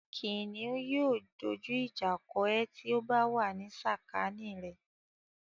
Kìnìún yóò dójú ìjà kọ ẹ ti ó bá wà ní sàkání rẹ̀.